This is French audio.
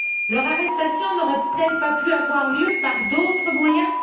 Leur arrestation n'aurait elle pas pu avoir lieu par d'autres moyens?